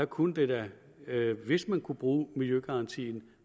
kunne det da hvis man kunne bruge miljøgarantien